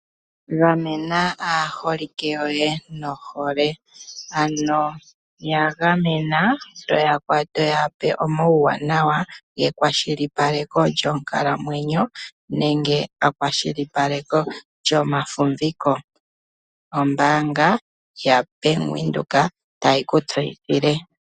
Gamena aaholike yoye nohole. Ano ya gamena, to ya pe omauwaanawa ge kwashilipaleko lyonkalamwenyo nenge pakwashilipaleko lyomafumviko. Ombaanga yaBank Windhoek tayi ku tseyithile.